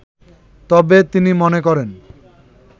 তবে তিনি মনে করেন